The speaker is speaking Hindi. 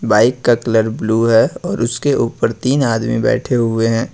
बाइक का कलर ब्लू है और उसके ऊपर तीन आदमी बैठे हुए हैं।